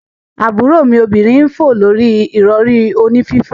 Aburo mi obinrin n fo lori irori oni fifo.